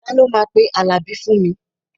Ta ló máa pe Àlàbí fún mi?